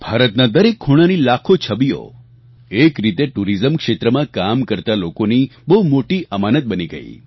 ભારતના દરેક ખૂણાની લાખો છબીઓ એક રીતે ટુરીઝમ ક્ષેત્રમાં કામ કરતા લોકોની બહુ મોટી અમાનત બની ગઈ